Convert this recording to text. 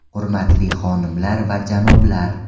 Hurmatli xonimlar va janoblar!